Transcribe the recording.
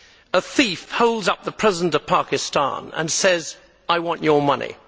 A thief holds up the President of Pakistan and says I want your money.